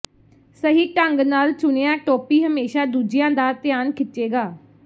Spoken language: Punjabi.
ਸਹੀ ਢੰਗ ਨਾਲ ਚੁਣਿਆ ਟੋਪੀ ਹਮੇਸ਼ਾ ਦੂਜਿਆਂ ਦਾ ਧਿਆਨ ਖਿੱਚੇਗਾ